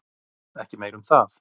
Ekki meira um það.